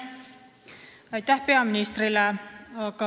Aitäh peaministrile!